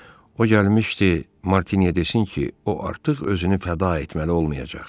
O gəlmişdi Martinyə desin ki, o artıq özünü fəda etməli olmayacaq.